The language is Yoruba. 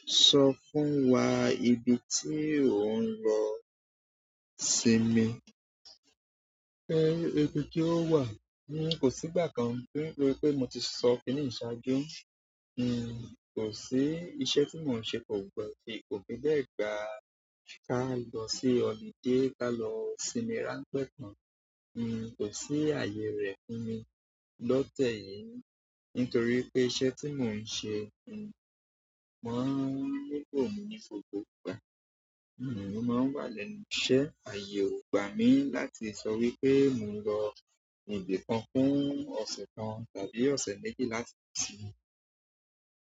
Sọ fún wa ibi tí ò ń lọ sinmi. Ìbí ti ọ wá n kò sí ìgbà kan nítorí pé mo ti sọ kiniyi ṣáájú. N kò sí iṣẹ́ tí mò ń ṣe pọ̀ gbẹ́, kò fi be gba ká ì lọ sí ọ̀lude ká lọ sinmi ráńpẹ́ tán. N kò sí ààyè rẹ fún mi lọ́tẹ̀ yìí nítorí pé iṣẹ́ tí mò ń ṣe, n máa ń npò nigbogbo ìgbà. Mo máa ń wá lẹ́nu iṣẹ́. Aye o gbami láti so wípé mo nlo ibìkan kun ose kan tàbí ose méjì.